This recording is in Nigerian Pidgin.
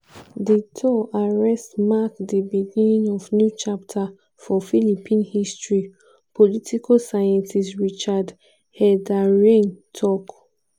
duterte arrest mark di "beginning of new chapter for philippine history" political scientist richard heydarian tok.